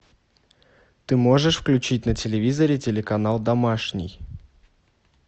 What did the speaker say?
ты можешь включить на телевизоре телеканал домашний